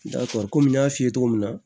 kɔmi n y'a f'i ye cogo min na